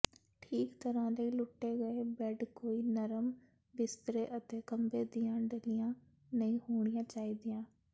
ਠੀਕ ਤਰ੍ਹਾਂ ਲੁੱਟੇ ਗਏ ਬੈੱਡ ਕੋਈ ਨਰਮ ਬਿਸਤਰੇ ਅਤੇ ਖੰਭੇ ਦੀਆਂ ਢੱਲੀਆਂ ਨਹੀਂ ਹੋਣੀਆਂ ਚਾਹੀਦੀਆਂ